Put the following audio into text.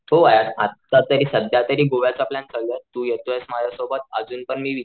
हो यार आत्ता तरी सध्या तरी गोव्याचा प्लॅन चालू तू येतोयस माझ्या सोबत अजून पण मी